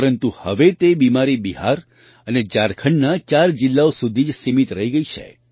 પરંતુ હવે તે બીમારી બિહાર અને ઝારખંડના ચાર જિલ્લાઓ સુધી જ સીમિત રહી ગઈ છે